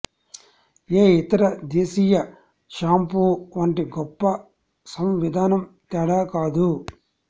ఏ ఇతర దేశీయ షాంపూ వంటి గొప్ప సంవిధానం తేడా కాదు